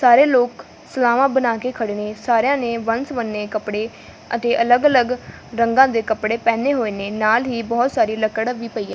ਸਾਰੇ ਲੋਕ ਸਲਾਵਾਂ ਬਣਾ ਕੇ ਖੜੇ ਨੇ ਸਾਰਿਆਂ ਨੇ ਵਨ ਸਵੰਨੇ ਕੱਪੜੇ ਅਤੇ ਅਲੱਗ ਅਲੱਗ ਰੰਗਾਂ ਦੇ ਕੱਪੜੇ ਪਹਿਨੇ ਹੋਏ ਨੇ ਨਾਲ ਹੀ ਬਹੁਤ ਸਾਰੀਆਂ ਲੱਕੜ ਵੀ ਪਈ ਐ।